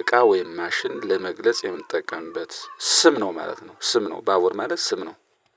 እቃ ወይም ማሽን ለመግለጽ የምንጠቀምበት ስም ነው ማለት ነው። ስም ነው ባቡር ማለት ስም ነው።